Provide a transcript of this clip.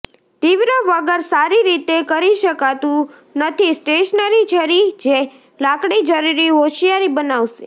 તીવ્ર વગર સારી રીતે કરી શકાતું નથી સ્ટેશનરી છરી જે લાકડી જરૂરી હોશિયારી બનાવશે